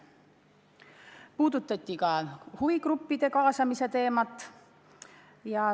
Veel puudutati huvigruppide kaasamist.